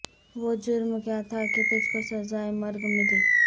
وہ جرم کیا تھا کہ تجھ کو سزائے مرگ ملی